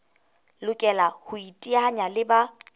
lokela ho iteanya le ba